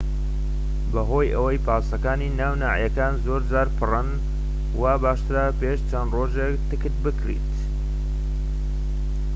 بەهۆی ئەوەی پاسەکانی ناو ناحیەکان زۆرجار پڕن واباشترە پێش چەند ڕۆژێك تکت بکڕیت